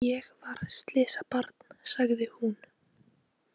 Ég var slysabarn, sagði hún.